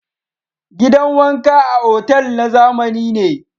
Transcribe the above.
Gidan wanka a otal na zamani ne.